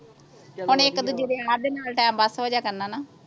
ਚਲੋ ਵਧੀਆ ਖਾਦੇ ਨਾਲ ਟਾਈਮ ਪਾਸ ਹੋ ਜਾਇਆ ਕਰਨਾ ਨਾ